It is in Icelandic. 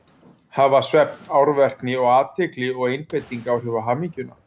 Hafa svefn, árvekni, athygli og einbeiting áhrif á hamingjuna?